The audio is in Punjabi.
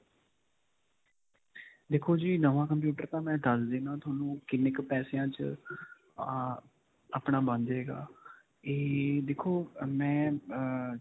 ਦੇਖੋ ਜੀ ਨਵਾਂ computer ਤਾਂ ਮੈਂ ਦੱਸ ਦਿੰਨਾਂ ਤੁਹਾਨੂੰ ਕਿੰਨੇ ਕ ਪੈਸਿਆਂ 'ਚ ਅਅ ਆਪਣਾ ਬਣ ਜਾਏਗਾ ਏਏ ਦੇਖੋ ਮੈਂ ਅਅ.